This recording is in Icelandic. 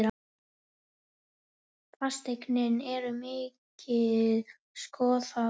Fasteignir eru mikið skoðaðar